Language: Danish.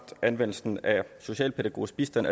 anvendelsen af socialpædagogisk bistand